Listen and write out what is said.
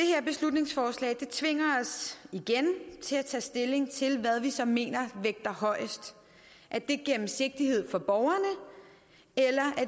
her beslutningsforslag tvinger os igen til at tage stilling til hvad vi så mener vægter højest er det gennemsigtighed for borgerne eller